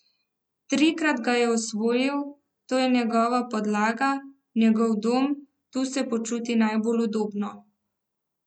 Trikrat ga je osvojil, to je njegova podlaga, njegov dom, tu se počuti najbolj udobno.